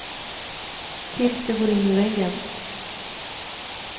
Tills du går in i väggen.